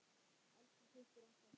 Elsku systir okkar.